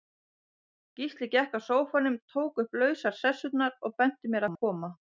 Gísli gekk að sófanum, tók upp lausar sessurnar, og benti mér að koma.